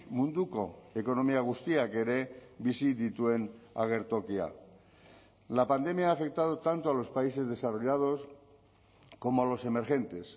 munduko ekonomia guztiak ere bizi dituen agertokia la pandemia ha afectado tanto a los países desarrollados como a los emergentes